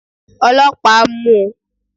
olopa, mu u!